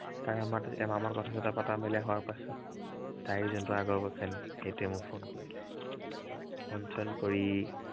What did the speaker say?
তাৰ এমাহ, এমাহমান কথা চথা পতা মেলা হোৱাৰ পাছত তাইৰ আগৰ ভাগৰ friend সেইটোৱে মোক phone কৰিলে phone চোন কৰি